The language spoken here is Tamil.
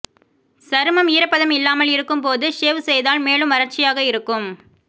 சருமம் ஈரப்பதம் இல்லாமல் இருக்கும் போது ஷேவ் செய்தால் மேலும் வறட்சியாக இருக்கும்